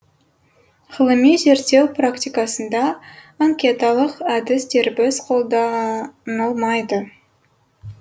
ғылыми зерттеу практикасында анкеталық әдіс дербес қолданылмайды